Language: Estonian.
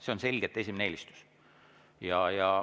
See on selgelt esimene eelistus.